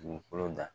Dugukolo da